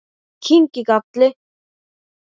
Ég kyngi galli.